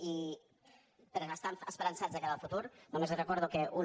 i per estar esperançats de cara al futur només li recordo que una